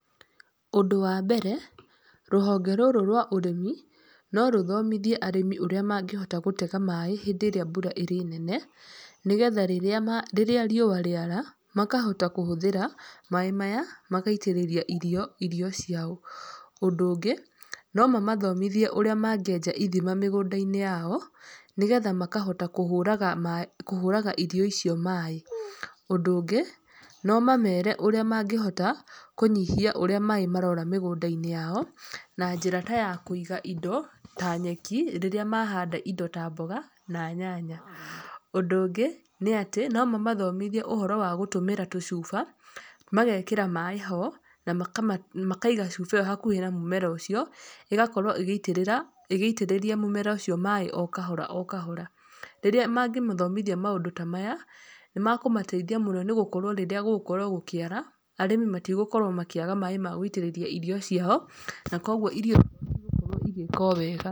Ũndũ wa mbere, rũhonge rũrũ rwa ũrĩmi no rũthomithie arĩmi ũrĩa mangĩhota gũtega maaĩ rĩrĩa mbura ĩrĩ nene, nĩgetha rĩrĩa riũa rĩara makahota kũhũthĩra maĩ maya magaitĩrĩria irio irio ciao. Ũndũ ũngĩ, no mamathomithie ũrĩa mangĩenja irima mĩgũnda-inĩ yao, nĩgetha makahota kũhũraga irio icio maaĩ. Ũndũ ũngĩ, no mamere ũrĩa mangĩhota kũnyihia ũrĩa maaĩ marora mĩgũnda-inĩ yao, na njĩra ta ya kũiga indo ta nyeki, rĩrĩa mahanda indo ta mboga na nyanya. Ũndũ ũngĩ nĩ atĩ no mamathomithie ũhoro wa kũhũthĩra tũcuba, magekĩra maaĩ ho na makaiga cuba ĩyo hakuhĩ na mũmera ũcio, ĩgakorwo ĩgĩitĩrĩra ĩgĩitĩrĩria mũmera ũcio maaĩ o kahora o kahora. Rĩrĩa mangĩmathomithia maũndũ ta maya, nĩ makũmateithia mũno nĩ gũkorwo rĩrĩa gũgũkorwo gũkĩara, arĩmi matigũkorwo makĩaga maaĩ ma gũitĩrĩria irio ciao. Na koguo irio ciao cigũkorwo igĩka o wega.